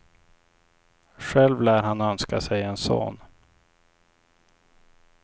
Själv lär han önska sig en son.